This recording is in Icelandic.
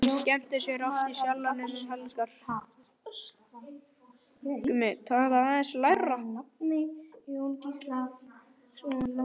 Hún skemmtir sér oft í Sjallanum um helgar.